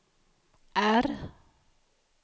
R